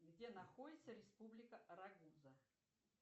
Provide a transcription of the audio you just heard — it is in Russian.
где находится республика рагуза